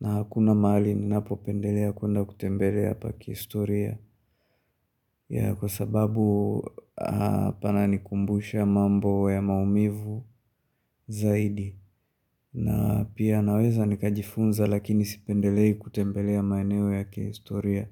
na hakuna mahali ninapo pendelea kuenda kutembelea pa kihistoria ya kwa sababu pana nikumbusha mambo ya maumivu zaidi na pia naweza nikajifunza lakini sipendelei kutembelea maeneo ya kihistoria.